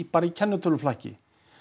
bara í kennitöluflakki